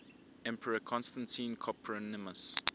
emperor constantine copronymus